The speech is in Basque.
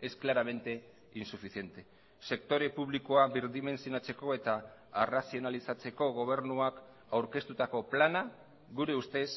es claramente insuficiente sektore publikoa birdimentsionatzeko eta arrazionalizatzeko gobernuak aurkeztutako plana gure ustez